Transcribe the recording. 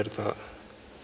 þetta